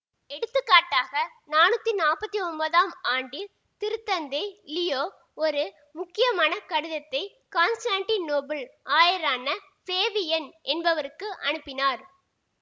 எடுத்துக்காட்டாக நானூத்தி நாப்பத்தி ஒன்பதாம் ஆண்டில் திருத்தந்தை லியோ ஒரு முக்கியமான கடிதத்தை காண்ஸ்டாண்டிநோபுள் ஆயரான ஃபிளேவியன் என்பவருக்கு அனுப்பினார்